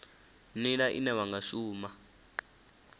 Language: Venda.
nila ine wa nga shuma